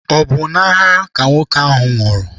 Ọ bụ n'agha ka nwoke ahụ nwụrụ?